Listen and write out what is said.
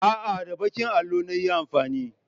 A'a, da baƙin allon na yi amfani.